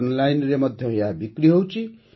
ଅନଲାଇନରେ ମଧ୍ୟ ଏହା ବିକ୍ରି ହେଉଛି